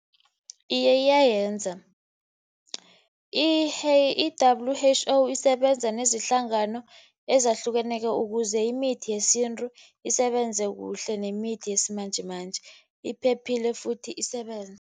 Iye iyayenza. I-W_H_O isebenza nezihlangano ezahlukeneko, ukuze imithi yesintu isebenze kuhle nemithi yesimanjemanje, iphephile futhi isebenze.